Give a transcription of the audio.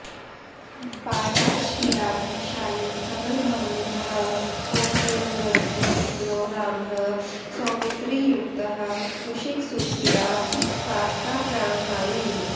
पायात् क्षीराब्धिशायी कमलभवनुतः कोसलेन्द्रस्य पुत्रो रामः सौमित्रियुक्तः कुशिकसुतगिरा ताटकाप्राणहारी